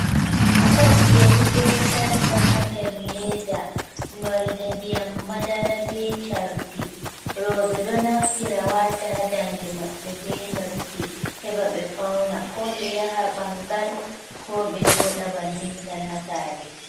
Set yari ɓe sarka ha ɗer leɗa. Nolɗe nɗiyam maɗara ɓe carɗi roɓe ɗo naftira wata ha nɗanɗe maɓɓe ɓe noppi, heɓa ɓe fauna, ko ɓe yaha ɓangal, ko ɓe jooɗa ɓannin tan ha sare